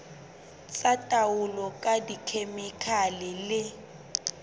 tsa taolo ka dikhemikhale le